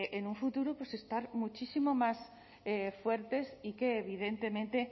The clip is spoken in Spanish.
en un futuro pues estar muchísimo más fuertes y que evidentemente